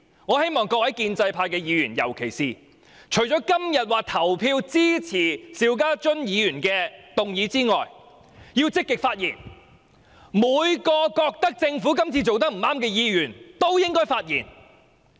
我希望各位建制派議員今天除了投票支持邵家臻議員的議案外，亦要積極發言，所有認為政府今次做得不對的議員也應發言。